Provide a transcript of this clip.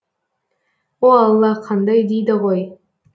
о алла қандай дейді ғой